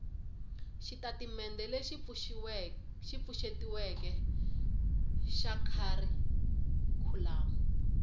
xitatimendhe lexi pfuxetiweke xa kharikhulamu